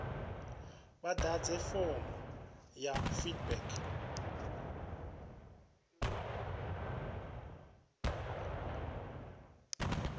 vha ḓadze fomo ya feedback